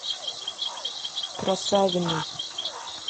красавиной